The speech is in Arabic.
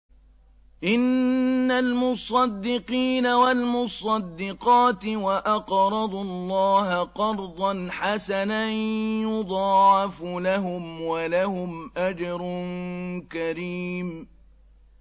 إِنَّ الْمُصَّدِّقِينَ وَالْمُصَّدِّقَاتِ وَأَقْرَضُوا اللَّهَ قَرْضًا حَسَنًا يُضَاعَفُ لَهُمْ وَلَهُمْ أَجْرٌ كَرِيمٌ